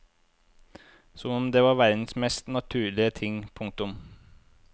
Som om det er verdens mest naturlige ting. punktum